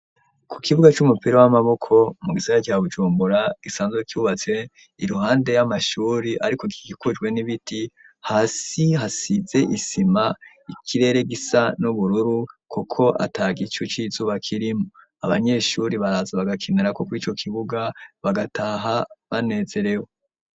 Ku kibuga c'umupira w'amaboko mu gisera cya bujumbura gisanzwe kyubatse iruhande y'amashuri, ariko ikigikujwe n'ibiti hasi hasize isima ikirere gisa n'ubururu, kuko ata gicu c'izuba kirimo abanyeshuri baraza bagakinarakuko ico kibuga bagataha banezerewe.